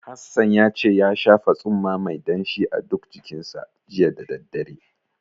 Hassan ya ce ya shafa tsumma mai danshi a duk jikinsa, jiya da daddare.